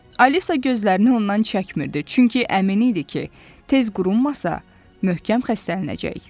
Alisa gözlərini ondan çəkmirdi, çünki əmin idi ki, tez qurumasa, möhkəm xəstələnəcək.